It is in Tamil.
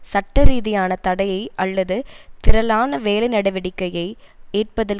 சட்ட ரீதியான தடையை அல்லது திரளான வேலை நடவடிக்கையயை ஏற்பதில்